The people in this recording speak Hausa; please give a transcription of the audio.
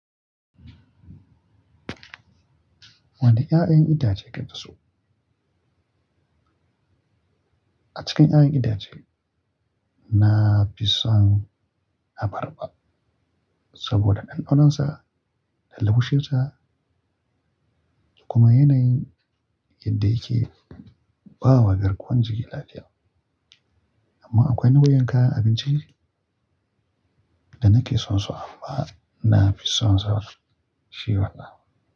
Wane 'ya'yan itace kake so? A cikin 'ya'yan itace, na fi son abarba saboda ɗanɗanon sa da launshin sa kuma yanayin yadda yake ba wa garkuwan jiki lafiya. Amma akwai nau'ikan kayan abinci da nake son so amma na fi son zawar shi wannan.